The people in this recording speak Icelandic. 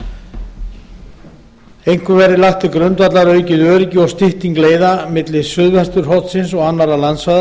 sjó einkum verði lagt til grundvallar aukið öryggi og stytting leiða milli suðvesturhornsins og annarra landsvæða